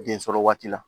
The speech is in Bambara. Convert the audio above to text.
Den sɔrɔ waati la